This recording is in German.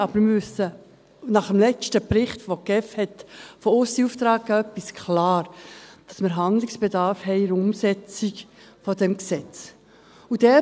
Aber nach dem letzten Bericht, den die GSI von aussen in Auftrag gegeben hat, wissen wir etwas klar, nämlich, dass wir in der Umsetzung dieses Gesetzes Handlungsbedarf haben.